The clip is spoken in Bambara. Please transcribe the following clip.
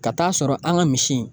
Ka ta'a sɔrɔ an ka misi in